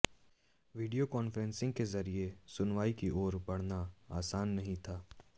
video conferencing के जरिये सुनवाई की ओर बढ़ना आसान नहीं था